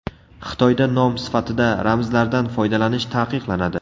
Xitoyda nom sifatida ramzlardan foydalanish taqiqlanadi.